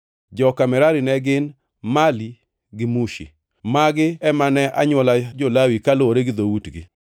Joka Merari ne gin: Mali gi Mushi. Magi ema ne anywola jo-Lawi, kaluwore gi dhoutgi.